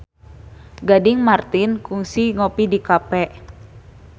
Gading Marten kungsi ngopi di cafe